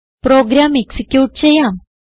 programme execute ചെയ്യാം